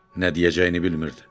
Nə deyəcəyini bilmirdi.